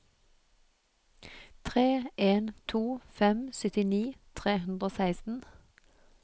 tre en to fem syttini tre hundre og seksten